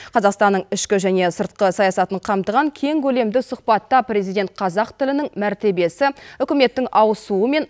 қазақстанның ішкі және сыртқы саясатын қамтыған кең көлемді сұхбатта президент қазақ тілінің мәртебесі үкіметтің ауысуы мен